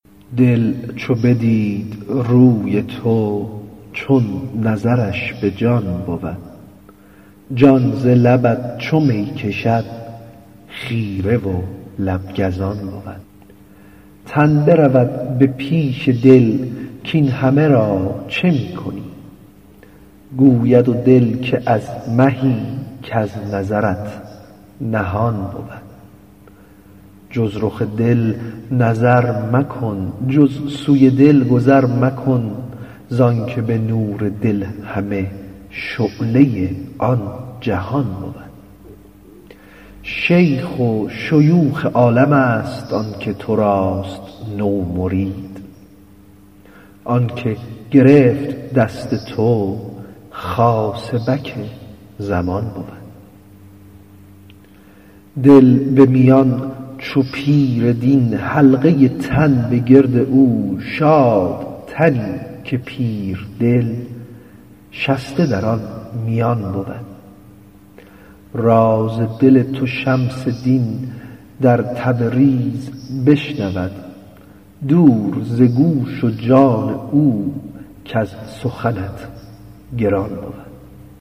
دل چو بدید روی تو چون نظرش به جان بود جان ز لبت چو می کشد خیره و لب گزان بود تن برود به پیش دل کاین همه را چه می کنی گوید دل که از مهی کز نظرت نهان بود جز رخ دل نظر مکن جز سوی دل گذر مکن زانک به نور دل همه شعله آن جهان بود شیخ شیوخ عالمست آن که تو راست نومرید آن که گرفت دست تو خاصبک زمان بود دل به میان چو پیر دین حلقه تن به گرد او شاد تنی که پیر دل شسته در آن میان بود راز دل تو شمس دین در تبریز بشنود دور ز گوش و جان او کز سخنت گران بود